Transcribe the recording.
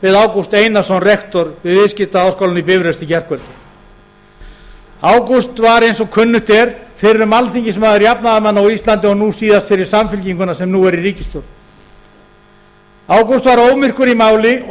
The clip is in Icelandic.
við ágúst einarsson rektor við viðskiptaháskólann í bifröst í gærkvöldi ágúst var eins og kunnugt er fyrrum alþingismaður jafnaðarmanna á íslandi og nú síðast fyrir samfylkinguna sem nú er í ríkisstjórn ágúst var ómyrkur í máli og